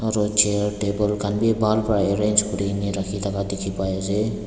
aru chair table khan vi bhal para arrange kurina na rakhi taka dekhi pai asa.